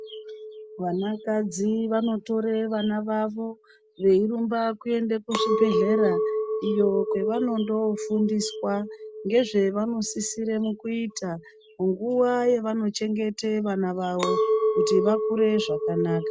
Vana kadzi vanotore vana vawo veirumba kuenda kuzvibhedhlera iyo kwevanondofundiswa ngezvavonosisire mukuita munguwo yavanochengete vana vawo kuti vakure zvakanaka.